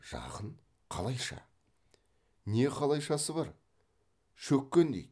жақын қалайша не қалайшасы бар шөккен дейді